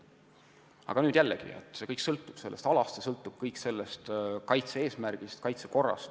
Aga jällegi, kõik sõltub konkreetsest alast ja kaitse-eesmärgist, kaitsekorrast.